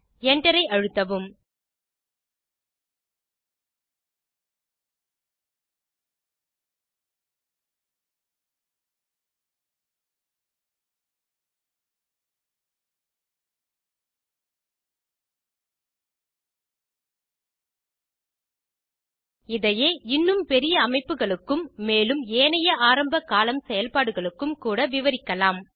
Enter ஐ அழுத்தவும் இதையே இன்னும் பெரிய அமைப்புகளுக்கும் மேலும் ஏனைய ஆரம்ப கோலம்ன் செயல்பாடுகளுக்கும் கூட விரிவாக்கலாம்